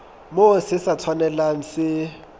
moo se sa tshwanelang se